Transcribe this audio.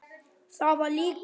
Það var líka hún.